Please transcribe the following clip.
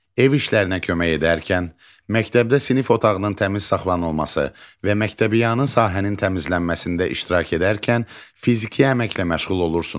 Ev işlərində kömək edərkən, məktəbdə sinif otağının təmiz saxlanılması və məktəbyanı sahənin təmizlənməsində iştirak edərkən fiziki əməklə məşğul olursunuz.